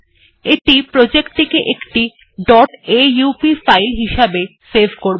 এটি প্রজেক্ট টিকে একটি aup ফাইল হিসেবে সেভ করবে